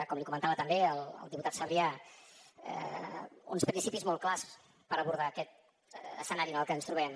com li comentava també al diputat sabrià uns principis molt clars per abordar aquest escenari en el que ens trobem